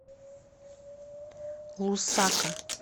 лусака